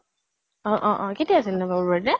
অ অ অ । কেতিয়া আছিল নো বাবুৰ birthday ?